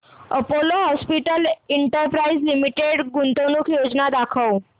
Apollo hospitals enterprise limited गुंतवणूक योजना दाखव